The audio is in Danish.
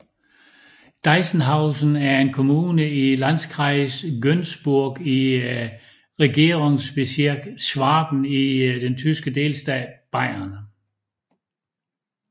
Deisenhausen er en kommune i Landkreis Günzburg i Regierungsbezirk Schwaben i den tyske delstat Bayern